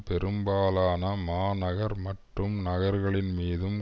பெரும்பாலான மாநகர் மற்றும் நகர்களின் மீதும்